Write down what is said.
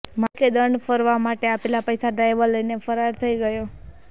માલિકે દંડ ફરવા માટે આપેલા પૈસા ડ્રાઈવર લઈને ફરાર થઈ ગયો